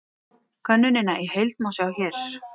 Könnunina í heild má sjá hér